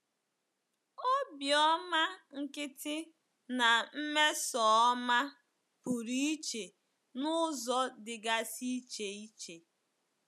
Obiọma nkịtị na mmesoọma pụrụ iche n’ụzọ dịgasị iche iche.